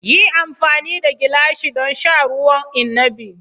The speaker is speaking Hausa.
Yi amfani da gilashi don sha ruwan inabi!